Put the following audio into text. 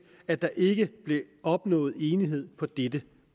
at der ikke blev opnået enighed på dette